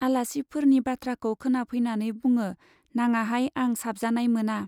आलासिफोरनि बाथ्राखौ खोनाफैनानै बुङो, नाङाहाय आं साबजानाय मोना।